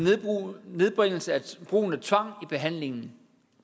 nedbringelse af brugen af tvang i behandlingen